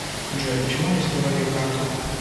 джой почему арестовали карту